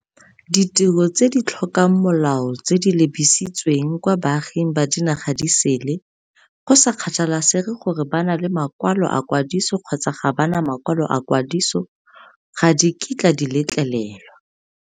Ditiro tse di tlhokang molao tse di lebisitsweng kwa baaging ba dinaga di sele, go sa kgathalesege gore ba na le makwalo a kwadiso kgotsa ga ba na makwalo a kwadiso, ga di kitla di letlelelwa.